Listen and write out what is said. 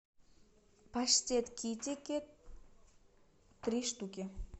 паштет китикет три штуки